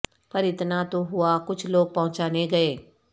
پر اتنا تو ہوا کچھ لوگ پہچانے گئے